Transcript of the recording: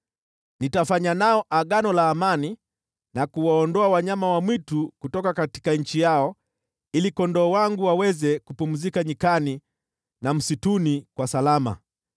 “ ‘Nitafanya nao Agano la amani na kuwaondoa wanyama wa mwitu kutoka nchi yao ili kondoo wangu waweze kupumzika nyikani na msituni kwa salama.